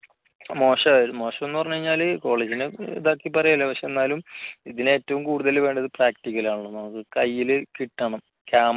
മോശമായിരുന്നു പറഞ്ഞാല് കോളേജിന് ഇതാക്കി പറയുകയല്ല പക്ഷേ എന്നാലും ഇതിന് ഏറ്റവും കൂടുതൽ വേണ്ടത് പ്രാക്ടിക്കൽ ആണല്ലോ നമുക്ക് കയ്യില് കിട്ടണം cam